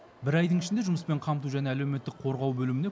бір айдың ішінде жұмыспен қамту және әлеуметтік қорғау бөліміне